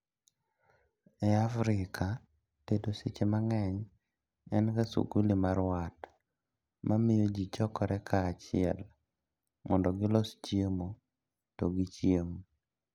E Afrika, tedo seche mang'eny en ga suguli mar wat mamio jii chokore kaachiel mondo gilos chiemo to gichiem